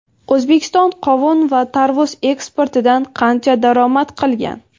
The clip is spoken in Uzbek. O‘zbekiston qovun va tarvuz eksportidan qancha daromad qilgan?.